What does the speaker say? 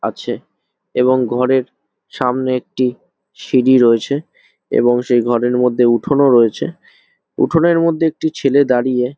আছে এবং ঘরের সামনে একটি সিঁড়ি রয়েছে এবং সেই ঘরের মধ্যে একটি উঠোন ও রয়েছে। উঠোনের মধ্যে একটি ছেলে দাঁড়িয়ে --